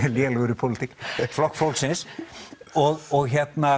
lélegur í pólitík Flokk fólksins og og